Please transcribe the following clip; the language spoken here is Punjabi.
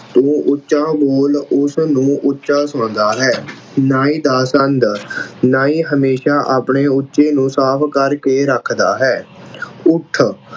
ਤੂੰ ਉੱਚਾ ਬੋਲ ਉਸਨੂੰ ਉੱਚਾ ਸੁਣਦਾ ਹੈ। ਨਾਈ ਦਾ ਸੰਦ ਨਾਈ ਹਮੇਸ਼ਾ ਆਪਣੇ ਉੱਚੇ ਨੂੰ ਸਾਫ਼ ਕਰਕੇ ਰੱਖਦਾ ਹੈ। ਅਹ ਉੱਠ